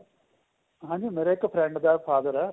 ਹਾਂਜੀ ਮੇਰੇ ਇੱਕ friend ਦਾ father ਏ